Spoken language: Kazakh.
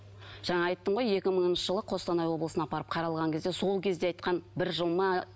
жаңа айттым ғой екі мыңыншы жылы қостанай облысына апарып қаралған кезде сол кезде айтқан бір жыл ма